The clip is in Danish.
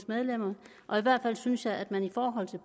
medlemmer og i hvert fald synes jeg at man i forhold til